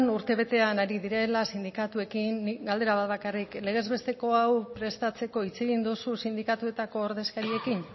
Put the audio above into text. urtebetean ari direla sindikatuekin nik galdera bat bakarrik legez besteko hau prestatzeko hitz egin duzu sindikatuetako ordezkariekin